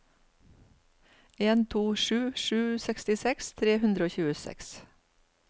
en to sju sju sekstiseks tre hundre og tjueseks